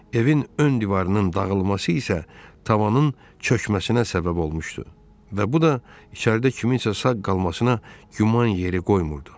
Evin ön divarının dağılması isə tavanın çökməsinə səbəb olmuşdu və bu da içəridə kimsənin sağ qalmasına güman yeri qoymurdu.